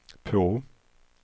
på